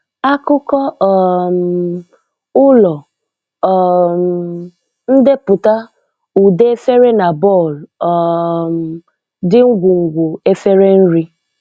Akụkọ um ụlọ: um ndeputa ụde efere na bọl um dị ngwungwu efere nri